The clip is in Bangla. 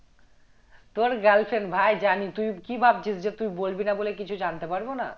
তোর girlfriend ভাই জানি তুই কি ভাবছিস যে তুই বলবি না বলে কিছু জানতে পারবো না